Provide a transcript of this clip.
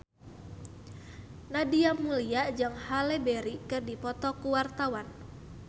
Nadia Mulya jeung Halle Berry keur dipoto ku wartawan